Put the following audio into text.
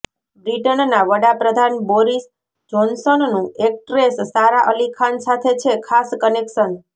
બ્રિટનના વડાપ્રધાન બોરિસ જોનસનનું એક્ટ્રેસ સારા અલી ખાન સાથે છે ખાસ કનેક્શન